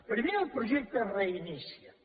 primer el projecte reinicia’t